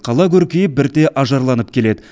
қала көркейіп бірте ажарланып келеді